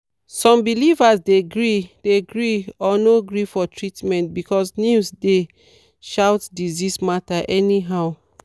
some believers dey gree dey gree or no gree for treatment because news dey shout disease matter anyhow.